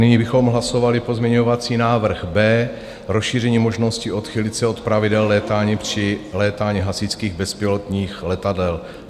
Nyní bychom hlasovali pozměňovací návrh B, rozšíření možností odchýlit se od pravidel létání při létání hasičských bezpilotních letadel.